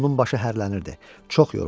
Onun başı hərlənirdi.